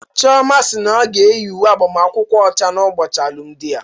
Chioma si na ọ ga-eyi uwe agbamakwụkwọ ọcha n'ụbọchị alụmdi ya.